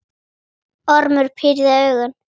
Ormur pírði augun.